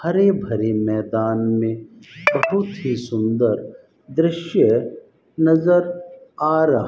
हरे भरे मैदान में बहुत ही सुंदर दृश्य नजर आ रहा --